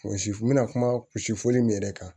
Misi n bɛna kuma si fɔli min yɛrɛ kan